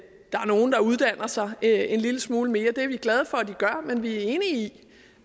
er nogle der uddanner sig en lille smule mere er vi glade for men vi er enige i